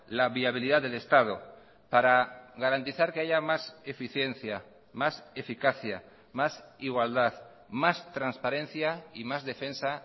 la viabilidad del estado para garantizar que haya más eficiencia más eficacia más igualdad más transparencia y más defensa